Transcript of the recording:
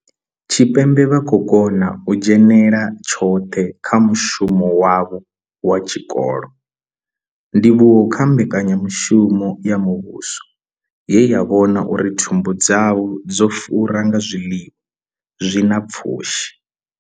Tshipembe vha khou kona u dzhenela tshoṱhe kha mushumo wavho wa tshikolo, ndivhuwo kha mbekanyamushumo ya muvhuso ye ya vhona uri thumbu dzavho dzo fura nga zwiḽiwa zwi na pfushi.